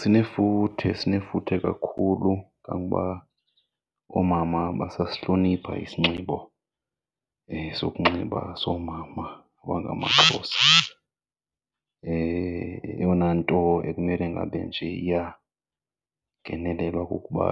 Sinefuthe, sinefuthe kakhulu kangoba oomama basasihlonipha isinxibo sokunxiba soomama abangamaXhosa. Eyona nto ekumele ngabe nje iyangenelelwa kukuba